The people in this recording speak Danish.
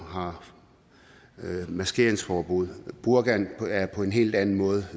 og har maskeringsforbud burkaen er på en helt anden måde